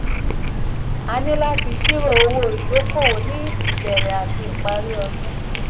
a níláti ṣírò owó ìdókòwò ní ìbẹ̀rẹ̀ àti ìparí ọdún.